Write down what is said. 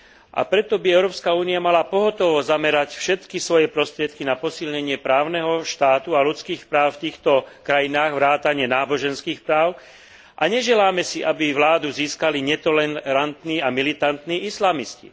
A preto Európska únia by mala pohotovo zamerať všetky svoje prostriedky na posilnenie právneho štátu a ľudských práv v týchto krajinách vrátane náboženských práv a neželáme si, aby vládu získali netolerantní a militantní islamisti.